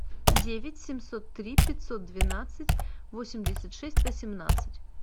девять семьсот три пятьсот двенадцать восемьдесят шесть восемнадцать